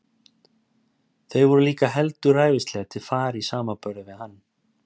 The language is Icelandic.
Þau voru líka heldur ræfilsleg til fara í samanburði við hann.